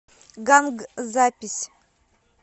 ганг запись